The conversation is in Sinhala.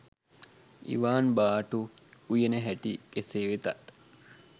ඉවාන් බටු උයන හැටි කෙසේ වෙතත්